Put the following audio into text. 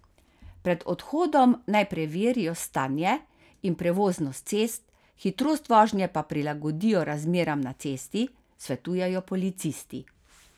Pred odhodom naj preverijo stanje in prevoznost cest, hitrost vožnje pa prilagodijo razmeram na cesti, svetujejo policisti.